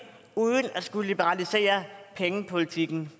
uden at skulle liberalisere pengepolitikken